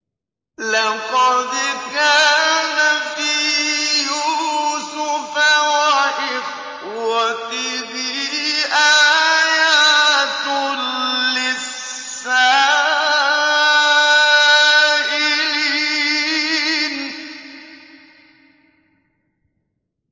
۞ لَّقَدْ كَانَ فِي يُوسُفَ وَإِخْوَتِهِ آيَاتٌ لِّلسَّائِلِينَ